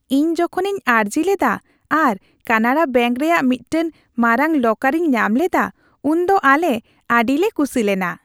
ᱤᱧ ᱡᱚᱠᱷᱚᱱᱤᱧ ᱟᱹᱨᱡᱤ ᱞᱮᱫᱟ ᱟᱨ ᱠᱟᱱᱟᱲᱟ ᱵᱮᱹᱝᱠ ᱨᱮᱭᱟᱜ ᱢᱤᱫᱴᱟᱝ ᱢᱟᱨᱟᱝ ᱞᱚᱠᱟᱨᱤᱧ ᱧᱟᱢ ᱞᱮᱫᱟ ᱩᱱᱫᱚ ᱟᱞᱮ ᱟᱹᱰᱤᱞᱮ ᱠᱩᱥᱤ ᱞᱮᱱᱟ ᱾